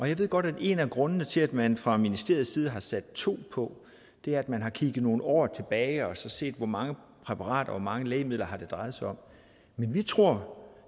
jeg ved godt at en af grundene til at man fra ministeriets side har sat to på er at man har kigget nogle år tilbage og set hvor mange præparater hvor mange lægemidler det har drejet sig om men vi tror